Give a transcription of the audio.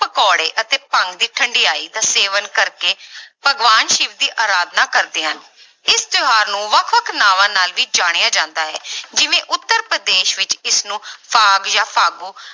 ਪਕੌੜੇ ਅਤੇ ਭੰਗ ਦੀ ਠੰਢਿਆਈ ਦਾ ਸੇਵਨ ਕਰਕੇ ਭਗਵਾਨ ਸਿਵ ਦੀ ਆਰਾਧਨਾ ਕਰਦੇ ਹਨ ਇਸ ਤਿਉਹਾਰ ਨੂੰ ਵੱਖ ਵੱਖ ਨਾਵਾਂ ਨਾਲ ਜਾਣਿਆ ਜਾਂਦਾ ਹੈ ਜਿਵੇਂ ਉੱਤਰ ਪ੍ਰਦੇਸ਼ ਵਿੱਚ ਇਸਨੂੰ ਫਾਗ ਜਾਂ ਫਾਗੂ